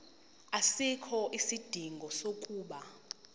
asikho isidingo sokuba